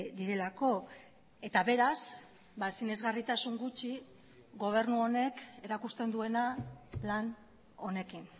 direlako eta beraz sinesgarritasun gutxi gobernu honek erakusten duena plan honekin